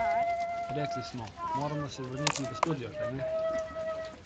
Rekli smo: 'Moramo se vrniti v studio, kajne?